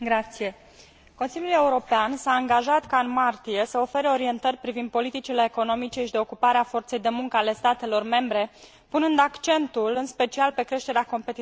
Consiliul European s a angajat ca, în martie, să ofere orientări privind politicile economice și de ocupare a forței de muncă ale statelor membre, punând accentul, în special, pe creșterea competitivității.